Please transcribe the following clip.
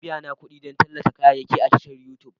Ana biyana kuɗi don tallata kayayyaki a tashar Youtube ta